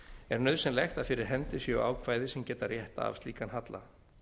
er nauðsynlegt að fyrir hendi séu ákvæði sem rétt geta af slíkan halla